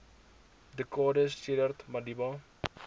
dekades sedert madiba